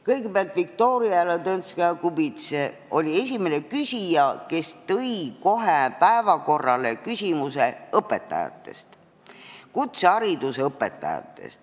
Kõigepealt, Viktoria Ladõnskaja-Kubits oli esimene küsija, kes tõi päevakorrale kutsehariduse õpetajate küsimuse.